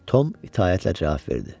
Tom itaətlə cavab verdi.